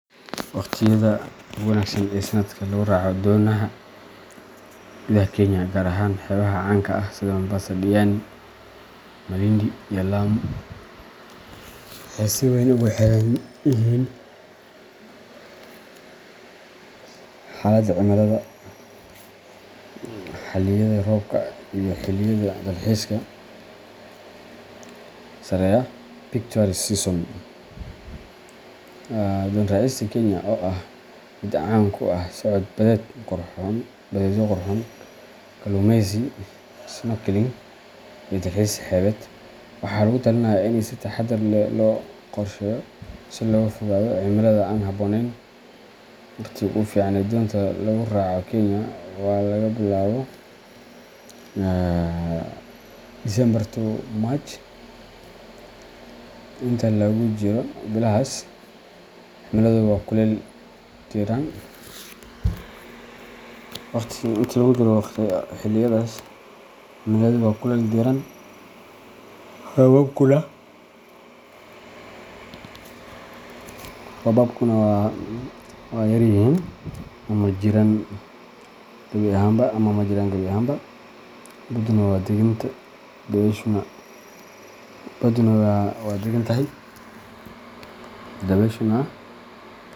Waqtiyada ugu wanaagsan ee sannadka lagu raaco doonaha gudaha Kenya gaar ahaan xeebaha caanka ah sida Mombasa, Diani, Malindi, iyo Lamu waxay si weyn ugu xiran yihiin xaaladda cimilada, xilliyada roobka, iyo xilliyada dalxiiska sareeya peak tourist seasons. Doon raacista Kenya, oo ah mid caan ku ah socod badeedyo qurxoon, kalluumeysi, snorkeling, iyo dalxiis xeebeed, waxaa lagu talinayaa in si taxaddar leh loo qorsheeyo si looga fogaado cimilada aan habboonayn. Waqtiga ugu fiican ee doonta lagu raaco Kenya waa laga bilaabo December to March. Inta lagu jiro bilahaas, cimiladu waa kulayl diiran, roobabkuna waa yar yihiin ama ma jiraan gabi ahaanba. Badduna waa deggan, dabayshuna.